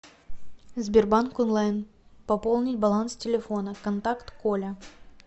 сбербанк онлайн пополнить баланс телефона контакт коля